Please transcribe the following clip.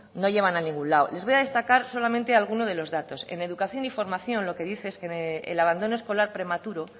no llevan a ningún lado les voy a destacar solamente alguno de los datos en educación y en formación lo que dice es que el abandono escolar prematuro